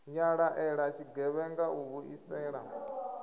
ya laela tshigevhenga u vhuisela